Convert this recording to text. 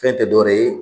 Fɛn tɛ dɔ wɛrɛ ye